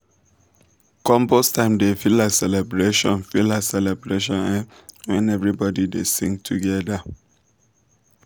compost time dey feel like celebration feel like celebration um when everybody dey sing together.